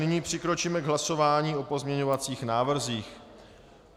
Nyní přikročíme k hlasování o pozměňovacích návrzích.